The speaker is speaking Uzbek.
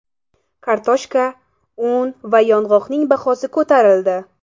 Kartoshka, un va yog‘ning bahosi ko‘tarildi .